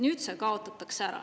Nüüd see kaotatakse ära.